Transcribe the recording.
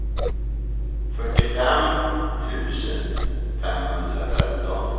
fyrtiofem tusen femhundratretton